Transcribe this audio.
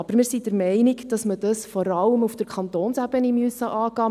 Aber wir sind der Meinung, dass man dies vor allem auf der Kantonsebene angehen muss;